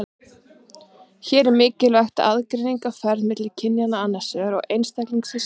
Hér er mikilvæg aðgreining á ferð milli kynja annars vegar og einstaklinga hins vegar.